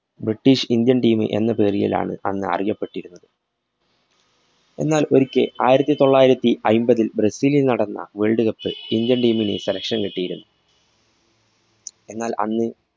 british indian team മ് എന്ന പേരിലാണ് അന്ന് അറിയപെട്ടിരുന്നത്. എന്നാല്‍ ഒരിക്കല്‍ ആയിരത്തിതൊള്ളായിരത്തി അയ്പതില്‍ ബ്രസീലില്‍ നടന്ന world cup ല്‍ indian team ന് selection കിട്ടിയിരുന്നു. എന്നാല്‍ അന്ന്